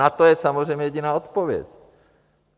Na to je samozřejmě jediná odpověď.